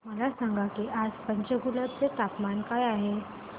मला सांगा की आज पंचकुला चे तापमान काय आहे